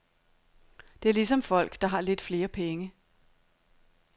Det er ligesom folk, der har lidt flere penge.